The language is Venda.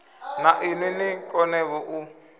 na inwi ni konevho u